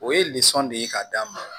O ye de ye ka d'a ma